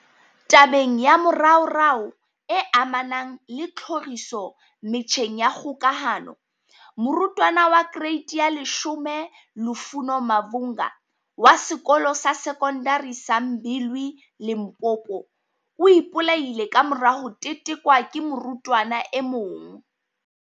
Tabeng ya moraorao e amanang le tlhoriso metjheng ya kgokahano, morutwana wa kereiti ya 10 Lufuno Mavhunga, wa Sekolo sa Sekondari sa Mbilwi, Limpopo, o ipolaile kamora ho tetekwa ke morutwana e mong.